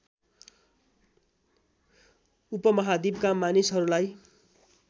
उपमहाद्वीपका मानिसहरूलाई